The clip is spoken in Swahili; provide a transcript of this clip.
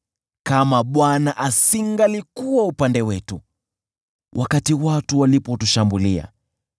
kama Bwana asingalikuwa upande wetu, wakati watu walipotushambulia,